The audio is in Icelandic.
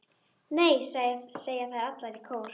Nei, segja þær allar þrjár í kór.